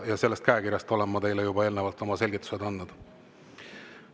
Ja selle käekirja kohta olen ma teile juba oma selgitused andnud.